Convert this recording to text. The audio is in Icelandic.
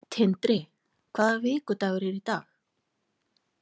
Tindri, hvaða vikudagur er í dag?